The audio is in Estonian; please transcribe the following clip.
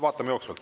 Vaatame jooksvalt.